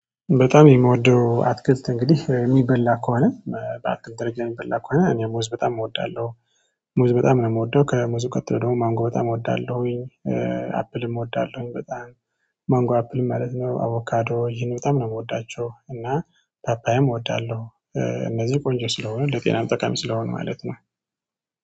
በጣም የምወደው አትክልት እንግዲህ የሚበላ ከሆነ በአትክልት ደረጃ የሚበላ ከሆነ እኔ ሙዝ በጣም እወዳለሁ። ሙዝ በጣም ነው የምወደው ከሙዝ ቀጥሎ ደግሞ ማንጎ በጣም እወዳለሁኝ። አፕልም እወዳለሁኝ በጣም። ማንጎ አፕል ማለት ነው አቮካዶ ይሄን በጣም ነው የምወዳቸው እና ፓፓዬም እወዳለሁ። እነዚህ ቆንጆ ስለሆነ ለጤናም ጠቃሚ ስለሆነ ማለት ነው